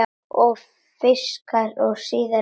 Og fikrar sig síðan innar?